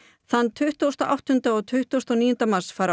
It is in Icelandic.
þann tuttugasta og áttunda og tuttugasta og níunda mars fara